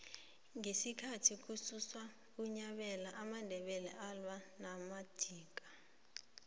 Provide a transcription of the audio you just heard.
ngesikhathi kubusa unyabela amandebele alwa namadika